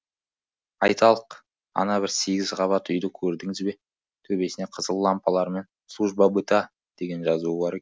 айталық ана бір сегіз қабат үйді көрдіңіз бе төбесіне қызыл лампалармен служба быта деген жазуы бар